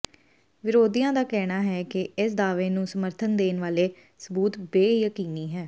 ਵਿਰੋਧੀਆਂ ਦਾ ਕਹਿਣਾ ਹੈ ਕਿ ਇਸ ਦਾਅਵੇ ਨੂੰ ਸਮਰਥਨ ਦੇਣ ਵਾਲੇ ਸਬੂਤ ਬੇਯਕੀਨੀ ਹੈ